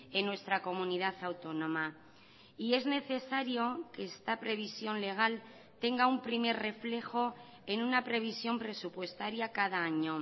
en nuestra comunidad autónoma y es necesario que esta previsión legal tenga un primer reflejo en una previsión presupuestaria cada año